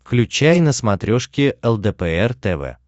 включай на смотрешке лдпр тв